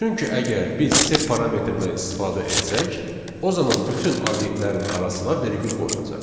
Çünki əgər biz sep parametrindən istifadə etsək, o zaman bütün obyektlərin arasına vergül qoyulacaq.